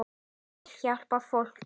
Ég vil hjálpa fólki.